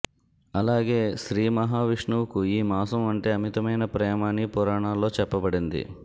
అలాగే శ్రీ మహావిష్ణువుకు ఈ మాసం అంటే అమితమైన ప్రేమ అని పురాణాల్లో చెప్పబడింది